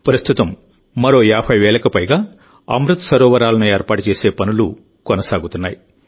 ప్రస్తుతం మరో 50 వేలకు పైగా అమృత్ సరోవరాలను ఏర్పాటు చేసే పనులు కొనసాగుతున్నాయి